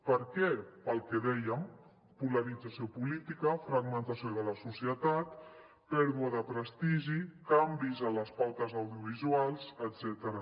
per què pel que dèiem polarització política fragmentació de la societat pèrdua de prestigi canvis en les pautes audiovisuals etcètera